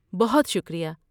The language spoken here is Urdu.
بہت شکریہ!